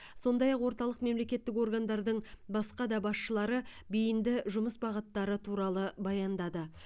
сондай ақ орталық мемлекеттік органдардың басқа да басшылары бейінді жұмыс бағыттары туралы баяндады